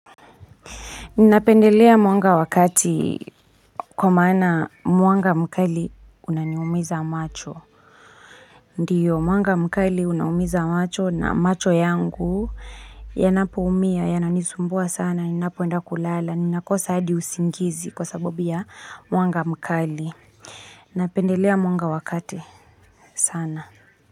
Ninapendelea mwanga wakati kwa maana mwanga mkali unaniumiza macho. Ndiyo, mwanga mkali unaumiza macho na macho yangu yanapo umia, yananisumbua sana, ninapoenda kulala, ninakosahadi usingizi kwa sababu ya mwanga mkali. Ninapendelea mwanga wa kati sana.